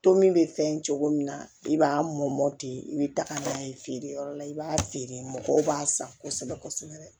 To min bɛ fɛn cogo min na i b'a mɔmɔti i bɛ taga n'a ye feere yɔrɔ la i b'a feere mɔgɔw b'a san kosɛbɛ kosɛbɛ